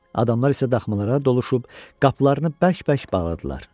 Adamlar isə daxmalara doluşub qapılarını bərk-bərk bağladılar.